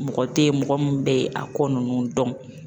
Mɔgɔ tɛ ye mɔgɔ min bɛ a kɔ ninnu dɔn